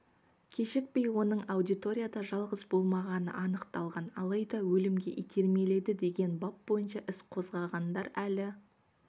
кешікпей оның аудиторияда жалғыз болмағаны анықталған алайда өлімге итермеледі деген бап бойынша іс қозғағандар әлі